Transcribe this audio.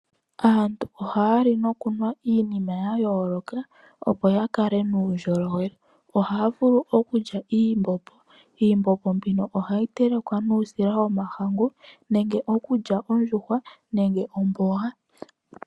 Aantu ohaa li nokunwa iinima ya yooloka opo ya kale nuundjolowele. Ohaa vulu okulya iimbombo. Iimbombo mbino ohayi telekwa nuusila womahangu nenge okulya ondjuhwa nenge omboga.